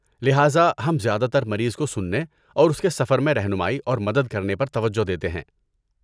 لہذا ہم زیادہ تر مریض کو سننے اور اس کے سفر میں رہنمائی اور مدد کرنے پر توجہ دیتے ہیں۔